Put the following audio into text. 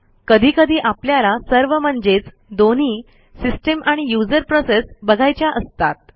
कधी कधी आपल्याला सर्व म्हणजेच दोन्ही सिस्टीम आणि युजर प्रोसेस बघायच्या असतात